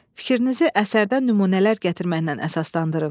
Fikrinizi əsərdən nümunələr gətirməklə əsaslandırın.